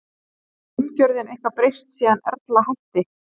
Hefur umgjörðin eitthvað breyst síðan Erla hætti?